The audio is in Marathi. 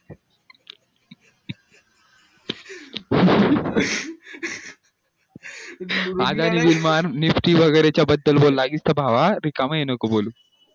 आजारी विमान वैगेरे च्या बदल बोला इथे भावा रिकामं हे नका बोलू